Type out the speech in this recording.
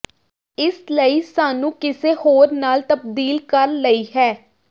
ਇਸ ਲਈ ਸਾਨੂੰ ਕਿਸੇ ਹੋਰ ਨਾਲ ਤਬਦੀਲ ਕਰ ਲਈ ਹੈ